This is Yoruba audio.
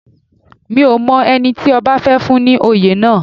Mi ò mọ ẹni tí ọba fẹ́ fún ní oyè náà